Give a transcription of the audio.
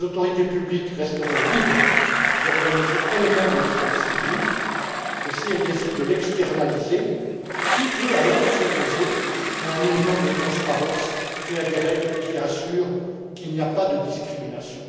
Les autorités publiques resteront libres d'organiser elles mêmes le service public, mais si elles décident de l'externaliser, qui peut alors s'opposer à un minimum de transparence et à des règles qui assurent qu'il n'y a pas de discrimination?